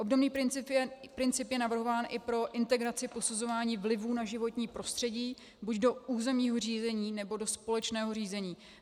Obdobný princip je navrhován i pro integraci posuzování vlivu na životní prostředí buď do územního řízení, nebo do společného řízení.